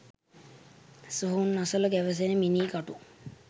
සොහොන් අසල ගැවසෙන මිනී කටු